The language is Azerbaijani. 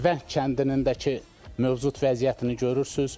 Vəng kəndinin də ki, mövcud vəziyyətini görürsünüz.